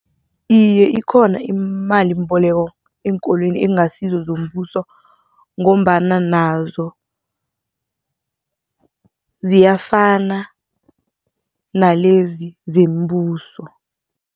Iye, ikhona imalimboleko eenkolweni ekungasizo zombuso ngombana nazo ziyafana nalezi zombuso.